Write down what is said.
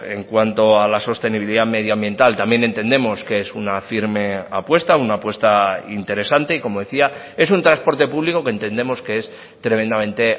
en cuanto a la sostenibilidad medioambiental también entendemos que es una firme apuesta una apuesta interesante y como decía es un transporte público que entendemos que es tremendamente